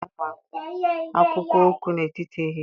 Onye isi ụlọ akwụkwọ nke nwanyị anyị ga-agwa ụmụ akwụkwọ okwu n'etiti ehihie